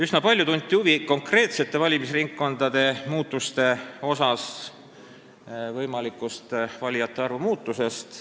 Üsna palju tunti huvi konkreetsete valimisringkondade mandaatide arvu muutuse ja valijate arvu võimaliku muutuse vastu.